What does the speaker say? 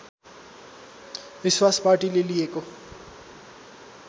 विश्वास पार्टीले लिएको